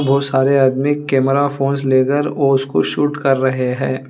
बहुत सारे आदमी कैमरा फोंस लेकर और उसको शूट कर रहे हैं।